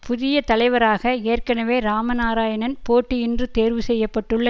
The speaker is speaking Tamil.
புதிய தலைவராக ஏற்கனவே இராம நாராயணன் போட்டியின்றி தேர்வு செய்ய பட்டுள்ள